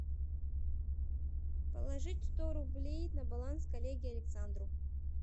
положить сто рублей на баланс коллеге александру